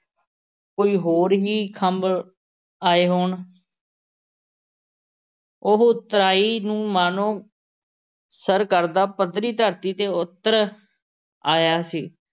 ਕੋਈ ਹੋਰ ਹੀ ਖੰਭ ਆਏ ਹੋਣ। ਉਹ ਉਤਰਾਈ ਨੂੰ ਮਾਨੋ ਸਰ ਕਰਦਾ ਪੱਧਰੀ ਧਰਤ ਤੇ ਉੱਤਰ ਆਇਆ ਸੀ